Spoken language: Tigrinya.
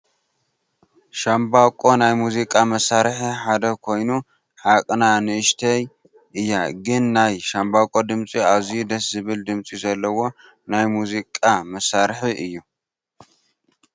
ሻምበቆ ናይ ሙዚቃ ምሳርሒ ሓደ ኮይኑ ዓቅና ንእሽተይ እያ ግን ናይ ሻምበቆ ድምፂ ኣዝዩ ደስ ዝብል ድምፂ ዘለዎ ናይ ሙዚቃ ምሳርሒ እዩ?